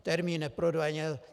Termín: neprodleně.